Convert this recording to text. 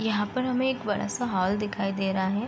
यहाँ पर हमें एक बड़ा सा हॉल दिखाई दे रहा है।